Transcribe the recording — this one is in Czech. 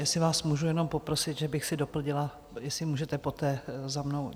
Jestli vás můžu jenom poprosit, že bych si doplnila, jestli můžete poté za mnou.